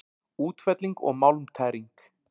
Útfelling og málmtæring